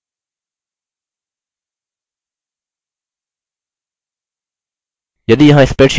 यदि यहाँ spreadsheet के लिए कोई password है तो हमें इसे भी देना होगा